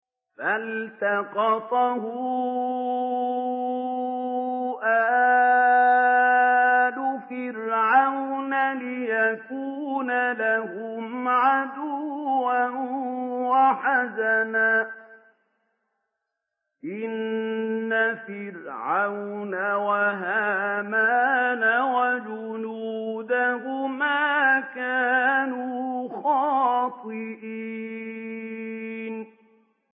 فَالْتَقَطَهُ آلُ فِرْعَوْنَ لِيَكُونَ لَهُمْ عَدُوًّا وَحَزَنًا ۗ إِنَّ فِرْعَوْنَ وَهَامَانَ وَجُنُودَهُمَا كَانُوا خَاطِئِينَ